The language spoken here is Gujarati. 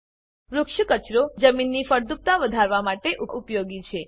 વૃક્ષ કચરો જમીનની ફળદ્રુપતા વધારવા માટે ઉપયોગી છે